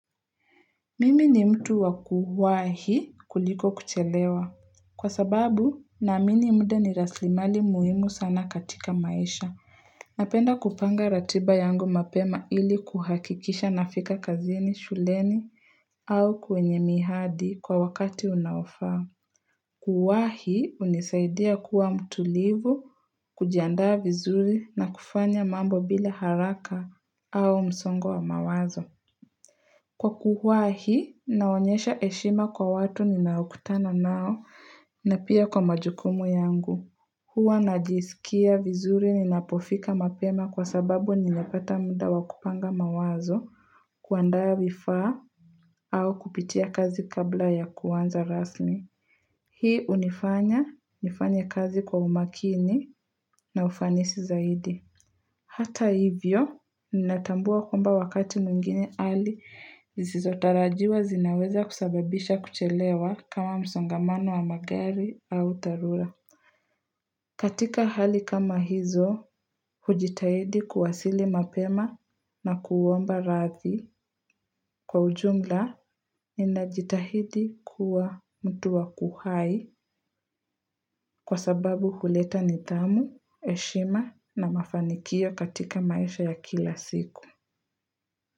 Mimi ni mtu wa kuwahi kuliko kuchelewa. Kwa sababu naamini muda ni rasilimali muhimu sana katika maisha. Napenda kupanga ratiba yangu mapema ili kuhakikisha nafika kazini, shuleni au kwenye mihadi kwa wakati unaofaa. Kuwahi hunisaidia kuwa mtulivu, kujiandaa vizuri na kufanya mambo bila haraka au msongo wa mawazo. Kwa kuwahi, naonyesha heshima kwa watu ninaokutana nao na pia kwa majukumu yangu. Huwa najisikia vizuri ninapofika mapema kwa sababu ninapata muda wa kupanga mawazo kuandaa vifaa au kupitia kazi kabla ya kuanza rasmi. Hii hunifanya, nifanye kazi kwa umakini na ufanisi zaidi. Hata hivyo, ninatambua kwamba wakati mwingine hali, zisizotarajiwa zinaweza kusababisha kuchelewa kama msongamano wa magari au dharura. Katika hali kama hizo, hujitahidi kuwasili mapema na kuomba radhi. Kwa ujumla, ninajitahidi kuwa mtu wakuhai kwa sababu huleta nidhamu, heshima na mafanikio katika maisha ya kila siku.